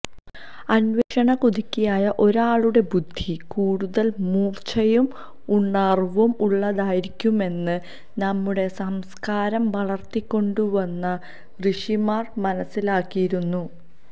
അന്വേഷണകുതുകിയായ ഒരാളുടെ ബുദ്ധി കൂടുതല് മൂര്ച്ചയും ഉണര്വും ഉള്ളതായിരിക്കുമെന്ന് നമ്മുടെ സംസ്കാരം വളര്ത്തിക്കൊണ്ടുവന്ന ഋഷിമാര് മനസ്സിലാക്കിയിരുന്നു